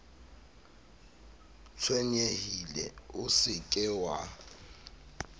tshwenyehile o se ke wa